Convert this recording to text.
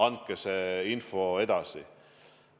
Andke see info edasi.